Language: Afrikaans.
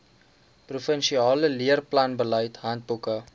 provinsiale leerplanbeleid handboeke